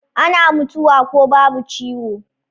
Ana mutuwa ko babu ciwo